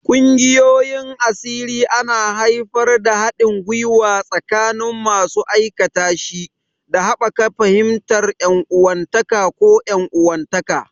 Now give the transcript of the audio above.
Ƙungiyoyin asiri ana haifar da haɗin gwiwa tsakanin masu aikatashi, da haɓaka fahimtar ƴan uwantaka ko 'yan uwantaka.